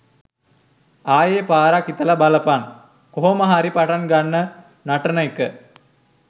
ආයේ පාරක් හිතලා බලපන් කොහොම හරි පටන් ගන්න නටන එක.